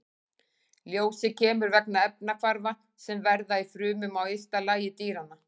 Ljósið kemur vegna efnahvarfa sem verða í frumum á ysta lagi dýranna.